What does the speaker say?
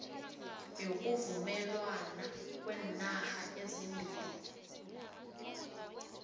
yokuvumelwana kweenarha ezimbili